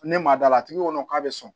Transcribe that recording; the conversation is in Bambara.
Ne ma da la a tigi kɔnɔ k'a bɛ sɔn